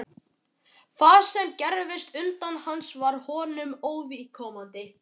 Það sem gerðist utan hans var honum óviðkomandi.